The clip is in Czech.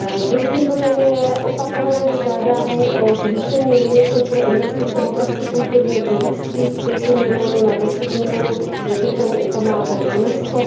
Druhým bodem je opakované žádání o zvýšení limitu pro investice v oblasti kulturního dědictví z 5 milionů na 10 milionů, jak je tomu u památek UNESCO.